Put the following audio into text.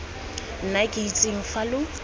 nna ke itseng fa lo